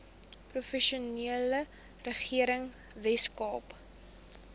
provinsiale regering weskaap